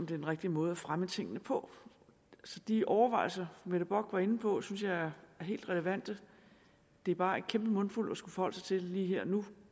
den rigtige måde at fremme tingene på de overvejelser fru mette bock var inde på synes jeg er helt relevante det er bare en kæmpe mundfuld at skulle forholde sig til lige her og nu